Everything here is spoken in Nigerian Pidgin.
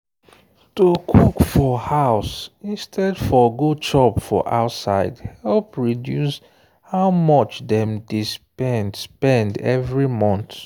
to cook for house instead for go chop for outside help reduce how much dem dey spend spend every month.